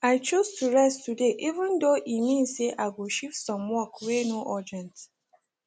i choose to rest today even though e mean say i go shift some work wey no urgent